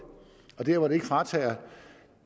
og der hvor det ikke fratager